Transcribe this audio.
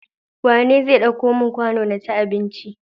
Wane zai ɗauko mun kwano naci abinci?